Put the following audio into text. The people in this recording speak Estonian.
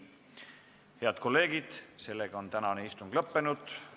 Head kolleegid, tänane istung on lõppenud.